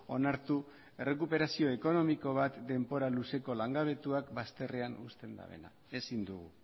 onartu errekuperazio ekonomiko bat denbora luzeko langabetuak bazterrean uzten dabena ezin dugu